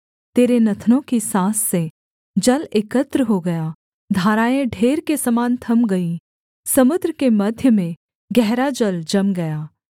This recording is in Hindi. तेरे नथनों की साँस से जल एकत्र हो गया धाराएँ ढेर के समान थम गईं समुद्र के मध्य में गहरा जल जम गया